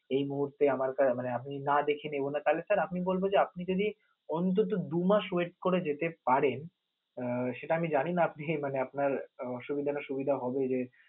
এই মুহূর্তে আমার কা~মানে আমি যদি না দেখে নেব না, তাহলে sir আমি বলব যে, আপনি যদি অন্তত দু মাস wait করে যেতে পারেন আহ সেটা আমি জানিনা আপনি মানে আপনার উহ অসুবিধা না সুবিধা হবে যে